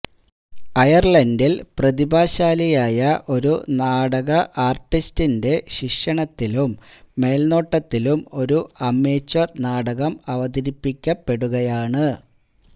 അയർലണ്ടിൽ പ്രതിഭാശാലിയായ ഒരു നാടക ആർട്ടിസ്റ്റിന്റെ ശിക്ഷണത്തിലും മേൽനോട്ടത്തിലും ഒരു അമേച്ച്വർ നാടകം അവതരിപ്പിക്കപെടുകയാണ്